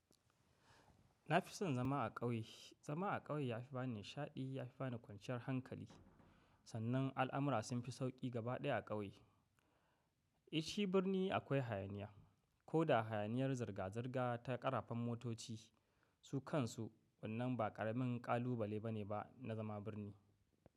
Na fi son zama a ƙauye. Zama a ƙauye ya fi ba ni nishaɗi, ya fi ba ni kwanciyar hankali. Sannan al'amura sun fi sauƙi gaba ɗaya a ƙauye. Eh shi birni akwai hayaniya, ko da hayaniyar zirga-zirga ta ƙarafan motoci su kansu, wannan ba ƙaramin ƙalubale bane ba na zama birni.